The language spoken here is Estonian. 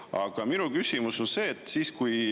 Aga minu küsimus on see.